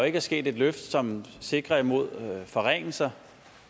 ikke sket et løft som sikrer imod forringelser